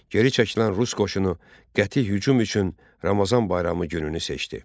Geri çəkilən rus qoşunu qəti hücum üçün Ramazan bayramı gününü seçdi.